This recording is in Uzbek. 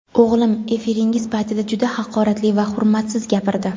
O‘g‘lim efiringiz paytida juda haqoratli va hurmatsiz gapirdi.